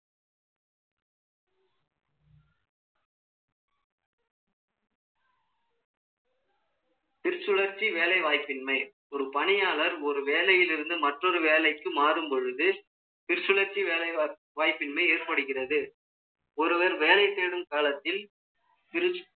திருச்சுழர்ச்சி வேலைவாய்ப்பின்மை, ஒரு பணியாளர், ஒரு வேலையிலிருந்து, மற்றொரு வேலைக்கு மாறும் பொழுது, திருச்சுழர்ச்சி வேலை வாய்ப்பின்மை ஏற்படுகிறது. ஒருவர் வேலை தேடும் காலத்தில்,